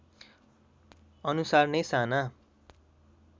अनुसार नै साना